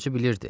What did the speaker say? O özü bilirdi.